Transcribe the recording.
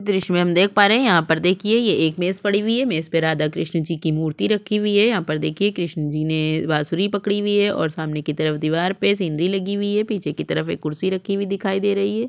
द्र्श्य में हम देख पा रहैहै यहाँ पर देखिये ये एक मेज़ पड़ी हुई है मेज़ पे राधा कृष्णा जी की मूर्ति रखी हुई है यहाँ पर देखिये कृष्ण जी ने बासुरी पकड़ी हुई है ओर सामने की तरफ दीवार पे सींदरी लगी हुई है पीछे की तरफ एक कुर्सी रखी हुई दिखाई दे रही है।